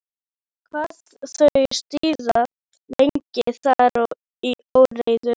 Hafa þau síðan legið þar í óreiðu.